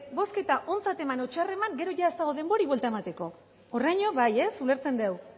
bozketa ontzat eman edo txar eman gero ez dago denborarik buelta emateko horreraino bai ez ulertzen dugu